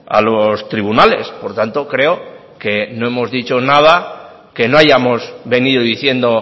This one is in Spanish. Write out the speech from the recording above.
a los tribunales por tanto creo que no hemos dicho nada que no hayamos venido diciendo